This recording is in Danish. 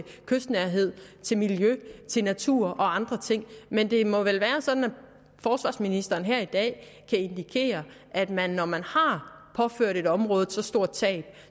kystnærhed til miljø til natur og andre ting men det må vel være sådan at forsvarsministeren her i dag kan indikere at man når man har påført et område et så stort tab